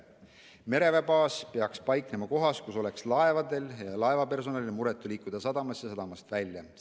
Mereväebaas peaks paiknema kohas, kus oleks laevadel ja laevapersonalil muretu liikuda sadamasse ja sadamast välja.